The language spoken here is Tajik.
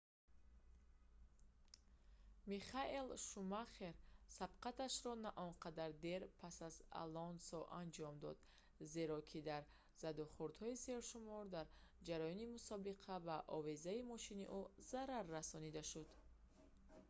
михаэл шумахер сабқаташро наонқадар дер пас аз алонсо анҷом дод зеро ки дар задухӯрдҳои сершумор дар ҷараёни мусобиқа ба овезаи мошини ӯ зарар расонида шуд